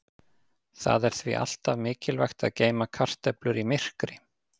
Það er því alltaf mikilvægt að geyma kartöflur í myrkri.